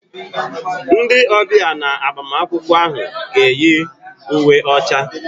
Ndị ọbịa na agbamakwụkwọ ahụ ga-eyi uwe ọcha.